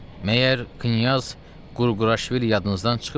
Məyər Knyaz Qurquraşvili yadınızdan çıxıbdımı?